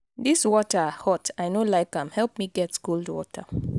dis water hot i no like am. help me get cold water.